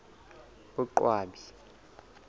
boqwabi